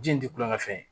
Ji in ti kulonkɛ fɛn ye